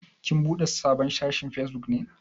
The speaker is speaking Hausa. Kin buɗe sabon shafin Facebook ne?